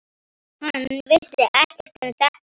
Hann vissi ekkert um þetta.